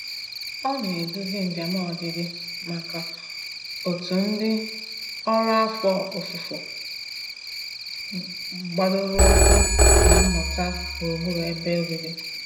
Ọ na-eduzi njem ọdịdị maka òtù ndị ọrụ afọ ofufo gbadoroụkwụ na mmụta gburugburu ebe obibi.